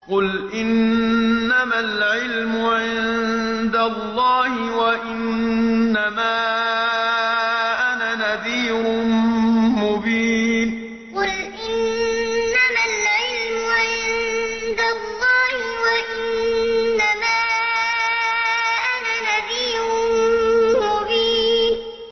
قُلْ إِنَّمَا الْعِلْمُ عِندَ اللَّهِ وَإِنَّمَا أَنَا نَذِيرٌ مُّبِينٌ قُلْ إِنَّمَا الْعِلْمُ عِندَ اللَّهِ وَإِنَّمَا أَنَا نَذِيرٌ مُّبِينٌ